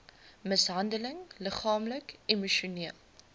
mishandeling liggaamlik emosioneel